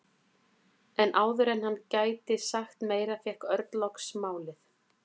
En áður en hann gæti sagt meira fékk Örn loks málið.